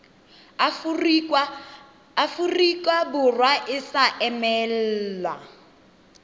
aforika borwa e sa emelwa